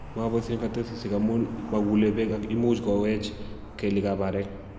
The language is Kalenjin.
maboisien kasetisiek amun maguule beek ak imuchi kowech kelyekab arek.